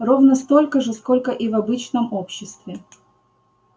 ровно столько же сколько и в обычном обществе